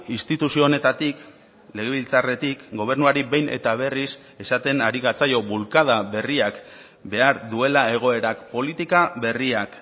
instituzio honetatik legebiltzarretik gobernuari behin eta berriz esaten ari gatzaio bulkada berriak behar duela egoerak politika berriak